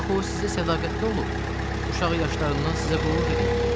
Axı o sizə sədaqətli olub, uşaq yaşlarından sizə qulluq eləyib.